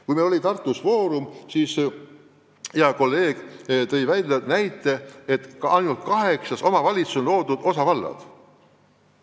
Kui meil oli Tartus foorum, siis mu hea kolleeg tõi näite, et ainult kaheksas omavalitsuses on loodud osavallad.